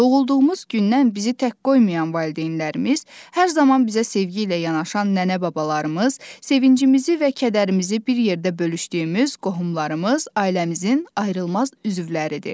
Doğulduğumuz gündən bizi tək qoymayan valideynlərimiz, hər zaman bizə sevgi ilə yanaşan nənə-babalarımız, sevincimizi və kədərimizi bir yerdə bölüşdüyümüz qohumlarımız ailəmizin ayrılmaz üzvləridir.